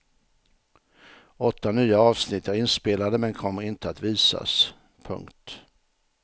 Åtta nya avsnitt är inspelade men kommer inte att visas. punkt